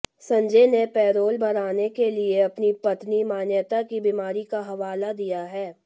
संजय ने पैरोल बढ़ाने के लिए अपनी पत्नी मान्यता की बीमारी का हवाला दिया है